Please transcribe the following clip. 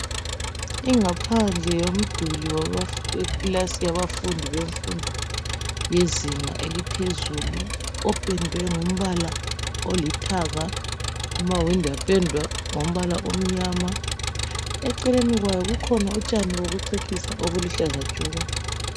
Ingaphandle yomduli wekilasi yabafundi bemfundo yezinga eliphezulu opendwe ngombala olithanga, amawindi apendwa ngombala omnyama. Eceleni kwayo kukhona utshani bokucecisa obuluhlaza tshoko.